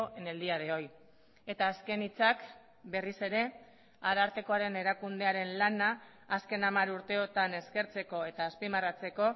en el día de hoy eta azken hitzak berriz ere arartekoaren erakundearen lana azken hamar urteotan eskertzeko eta azpimarratzeko